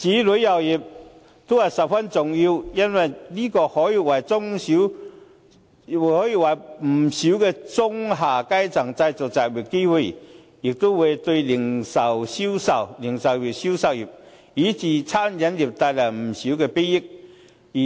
旅遊業發展也是十分重要的，因為可以為不少中下階層人士製造就業機會，也會為零售業以至餐飲業帶來不少裨益。